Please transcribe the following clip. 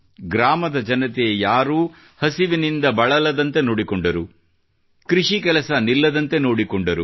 ಗ್ರಾಮದ ಜನತೆ ಯಾರೂ ಹಸಿವಿನಿಂದ ಬಳಲದಂತೆ ನೋಡಿಕೊಂಡರು ಕೃಷಿ ಕೆಲಸ ನಿಲ್ಲದಂತೆ ನೋಡಿಕೊಂಡರು